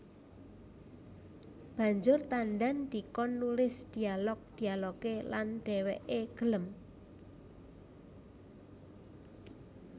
Banjur Tandan dikon nulis dialog dialogé lan dhèwèké gelem